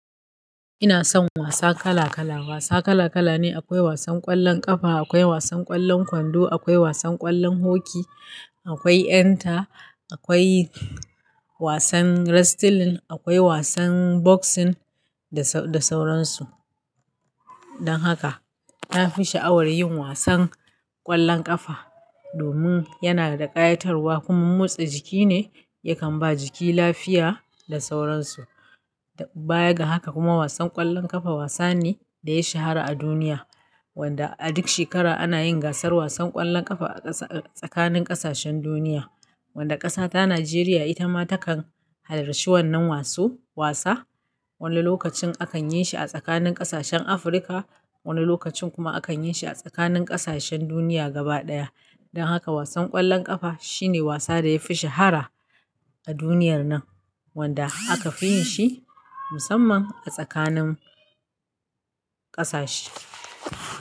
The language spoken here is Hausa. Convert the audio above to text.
Ina son wasa kala kala. Wasa kala kala ne, akwai wasan ƙwallon ƙafa, akwai wasan ƙwallon kwando, akwai wasan ƙwallon hoki, akwai 'yan ta, akwai wasan wrestling, akwai wasan boxing da sauran su. Dan haka na fi sha'awar yin wasan ƙwallon ƙafa domin yana da ƙayatarwa kuma motsa jiki ne yakan ba jiki lafiya da sauran su. Baya ga haka kuma wasan ƙwallon ƙafa wasa ne da yayi shahara a duniya, wanda a duk shekara ana yin gasar wasan ƙwallon ƙafa a tsakanin ƙasashen duniya, wanda ƙasa ta Najeriya ita ma takan halarci wannan wasu wasa. Wani lokacin akan yin shi a tsakanin ƙasashen Afirka, wani lokacin kuma akan yin shi a tsakanin ƙasashen duniya gaba daya. Dan haka wasan ƙwallon ƙafa shine wasa da yafi shahara a duniyar nan, wanda aka fi yin shi musamman a tsakanin ƙasashe.